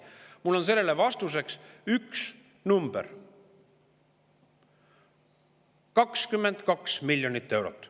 Mul on sellele vastuseks üks number: 22 miljonit eurot.